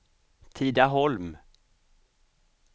Tidaholm